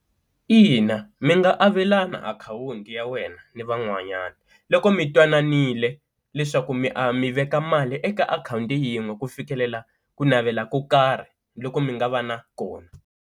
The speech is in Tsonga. Ina mi nga avelana akhawunti ya wena ni van'wanyana loko mi twananiwe leswaku mi mi veka mali eka akhawunti yin'we ku fikelela ku navela ko karhi loku mi nga va na kona.